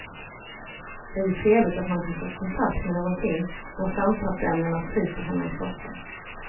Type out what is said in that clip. Det är ju trevligt att man kan få kontakt med någonting, när samtalsämnena tryter hemma i soffan.